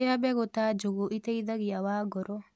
Rĩa begũ ta njũgũ ĩteĩthagĩa wa ngoro